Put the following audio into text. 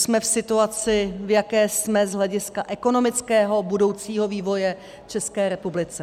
Jsme v situaci, v jaké jsme z hlediska ekonomického budoucího vývoje v České republice.